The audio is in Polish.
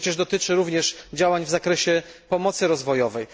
To przecież dotyczy również działań w zakresie pomocy rozwojowej.